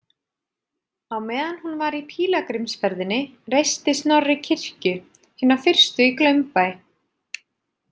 Á meðan hún var í pílagrímsferðinni reisti Snorri kirkju, hina fyrstu í Glaumbæ.